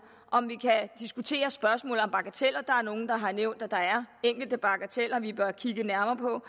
om vi kan diskutere spørgsmålet om bagateller der er nogle der har nævnt at der er enkelte bagateller vi bør kigge nærmere på